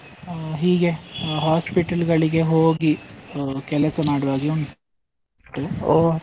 ಅಹ್ ಹೀಗೆ hospital ಗಳಿಗೆ ಹೋಗಿ ಆ ಕೆಲಸ ಮಾಡುವಾಗೆ ಉನ್ ಟು.